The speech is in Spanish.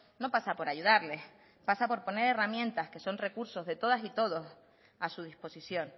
no pasa por ayudarles pasa por poner herramientas que son recursos de todas y todos a su disposición